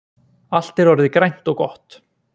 Allt er orðið grænt og gott